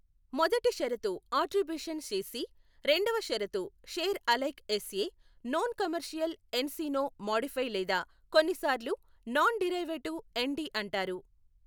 మొదటి షరతు attribution C C, రెండవ షరతు share alike S A non commercial N C no modify లేదా కొన్నిసార్లు నాన్ డిరైవేటివ్ ఎన్ డి అంటారు.